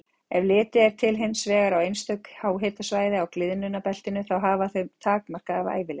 Ef litið er hins vegar á einstök háhitasvæði á gliðnunarbeltinu, þá hafa þau takmarkaða ævilengd.